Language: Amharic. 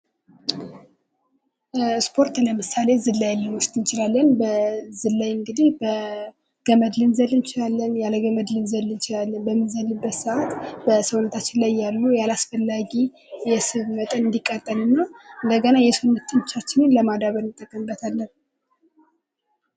ስፖርት ለምሳሌ ዝላይን ልንውስድ እንችላለን ። በዝላይ እንግዲህ በገመድ ልንዘል እንችላለን ያለ ገመድ ልንዘል እንችላለን ። በምንዘልበት ሰዓት በሰውነታችን ላይ ያሉ አላስፈላጊ የስብ መጠን እንዲቃጠልና እንደገና የሰውነት ጡንቻችንን ለማዳበር እንጠቀምበታለን ።